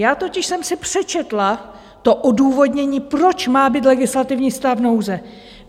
Já totiž jsem si přečetla to odůvodnění, proč má být legislativní stav nouze.